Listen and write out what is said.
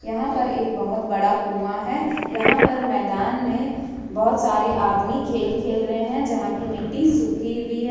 यहां पर एक बहुत बड़ा कुआं है यहां पर मैदान में बहुत सारे आदमी खेल खेल रहे हैं जहां की मिट्टी सूखी हुई है ।